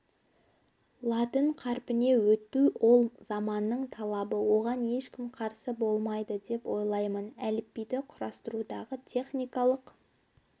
латын қарпіне өту ол заманның талабы оған ешкім қарсы болмайды деп ойлаймын әліпбиді құрастырудағы техникалық